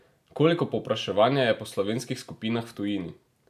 Koliko povpraševanja je po slovenskih skupinah v tujini?